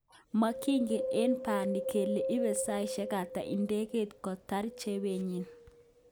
Mokigen eng bani kele ibe saishek ata idegeit kotar chopenyin.